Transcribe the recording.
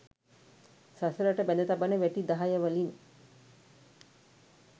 සසරට බැඳ තබන වැටි දහය වලින්